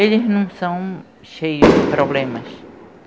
Eles não são cheios de problemas.